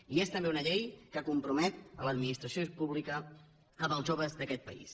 i és també una llei que compromet l’administració pública amb els joves d’aquest país